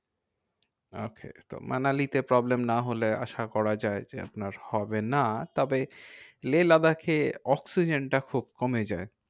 Okay তো মানালিতে problem না হলে, আসা করা যায় যে আপনার হবে না। তবে লেহ লাদাখে অক্সিজেনটা খুব কমে যায়।